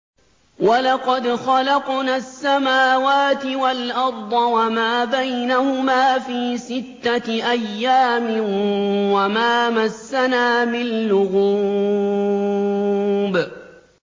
وَلَقَدْ خَلَقْنَا السَّمَاوَاتِ وَالْأَرْضَ وَمَا بَيْنَهُمَا فِي سِتَّةِ أَيَّامٍ وَمَا مَسَّنَا مِن لُّغُوبٍ